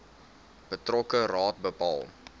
betrokke raad bepaal